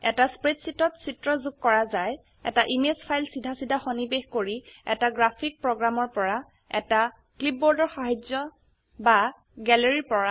এটা স্প্ৰেডশীটত চিত্ৰ যোগ ক ৰা যায় এটা ইমেজ ফাইল চিধা চিধা সন্নিবেশ কৰি এটা গ্ৰাফিক্স প্ৰোগ্ৰামৰ পৰা এটা ক্লিপবোৰ্ডৰ সাহায্যে বা গ্যালাৰিৰ পৰা